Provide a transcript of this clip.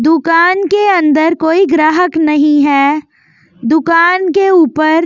दुकान के अंदर कोई ग्राहक नहीं है दुकान के ऊपर--